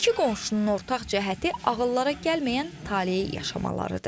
İki qonşunun ortaq cəhəti ağıllara gəlməyən taleyi yaşamalarıdır.